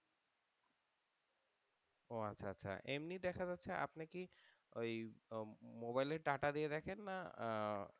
ও আচ্ছা আচ্ছা এমনি দেখা যাচ্ছে আপনার কি ওই মোবাইলে data দিয়ে দেখেন না আহ